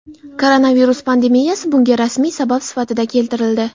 Koronavirus pandemiyasi bunga rasmiy sabab sifatida keltirildi.